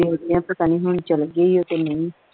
ਪਤਾ ਨਹੀਂ ਹੁਣ ਚੱਲ ਗਈ ਆ ਕੇ ਨਹੀਂ